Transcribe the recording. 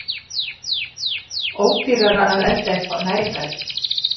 Ódýrara að elda eitthvað næringarríkt!